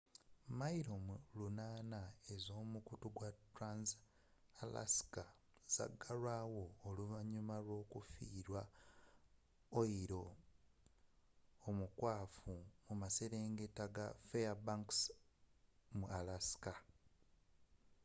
milo 800 ez'omukutu wa trans-alaska zagalwaawo oluvanyuma lw'okufiirwa oyiro omukwafu mu maserengeta ga fairbanks alaska